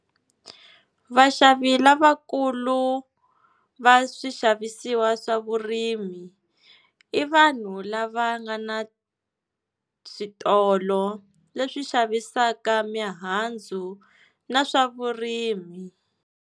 Vaxavi lavakulu va swixavisiwa swa vurimi i vanhu lava nga na switolo leswi xavisaka mihandzu na swa vurimi.